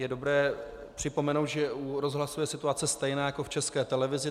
Je dobré připomenout, že u rozhlasu je situace stejná jako v České televizi.